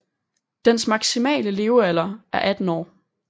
Dens maksimale levealder er 18 år